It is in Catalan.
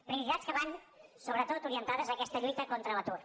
prioritats que van sobretot orientades a aquesta lluita contra l’atur